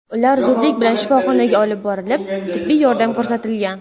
Ular zudlik bilan shifoxonaga olib borilib, tibbiy yordam ko‘rsatilgan.